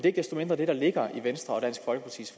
ikke desto mindre det der ligger i venstre og dansk folkepartis